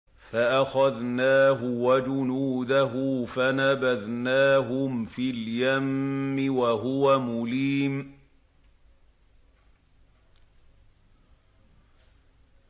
فَأَخَذْنَاهُ وَجُنُودَهُ فَنَبَذْنَاهُمْ فِي الْيَمِّ وَهُوَ مُلِيمٌ